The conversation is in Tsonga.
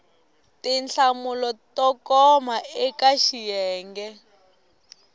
tinhlamulo to koma eka xiyenge